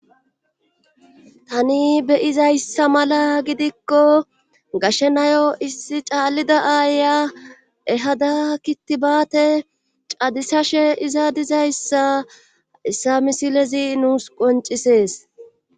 Tani beyizayssa mala gidikko gashenayo issi caallida aaya ehada kittibaate cadisashe izadizayssa issa misilezi nuus qoncisees